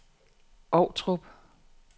Ovtrup